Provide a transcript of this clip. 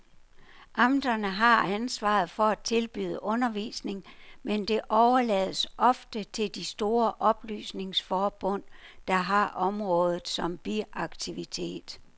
Amterne har ansvaret for at tilbyde undervisning, men det overlades ofte til de store oplysningsforbund, der har området som biaktivitet.